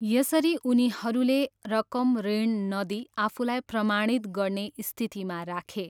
यसरी उनीहरूले रकम ऋण नदिई आफूलाई प्रमाणित गर्ने स्थितिमा राखे।